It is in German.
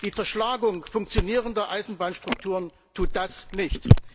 Die Zerschlagung funktionierender Eisenbahnstrukturen tut das nicht.